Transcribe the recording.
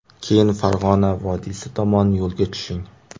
Keyin Farg‘ona vodiysi tomon yo‘lga tushing.